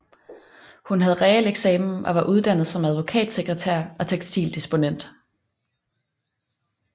Hun havde realeksamen og var uddannet som advokatsekretær og tekstildisponent